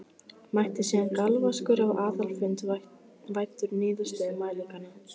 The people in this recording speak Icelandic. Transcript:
Mætti síðan galvaskur á aðalfund væddur niðurstöðum mælinganna.